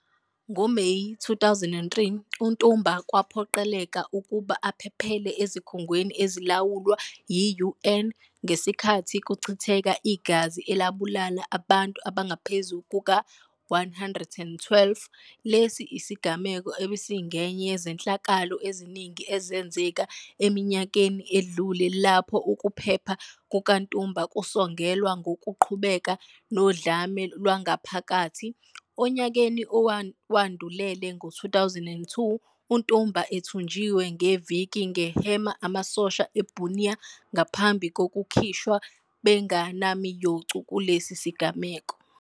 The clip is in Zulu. NgoMeyi 2003, uNtumba waphoqeleka ukuba aphephele ezikhungweni ezilawulwa yi-UN ngesikhathi kuchitheka igazi elabulala abantu abangaphezu kuka-112. Lesi sigameko besingenye yezehlakalo eziningi ezenzeke eminyakeni edlule lapho ukuphepha kukaNtumba kusongelwa ngokuqhubeka nodlame lwangaphakathi. Onyakeni owawandulele, ngo-2002, uNtumba ethunjiwe ngeviki nge-Hema amasosha e-Bunia ngaphambi kokukhishwa bengenamiyocu kulesi sigameko.